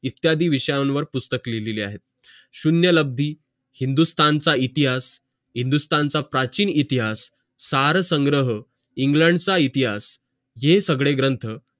इत्यादी विषय वर पुस्तक लिहिलेल्या आहेत शून्यलाभी हिंदुस्तानचेइतिहास हिंदुस्तानच काचिव इतिहास सारे संग्रह इंग्लंडचा इतिहास हे सगळे ग्रंथ